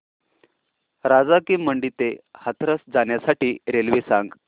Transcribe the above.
राजा की मंडी ते हाथरस जाण्यासाठी रेल्वे सांग